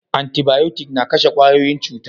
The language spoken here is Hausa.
Antibayotic na kashe kwayoyin cuta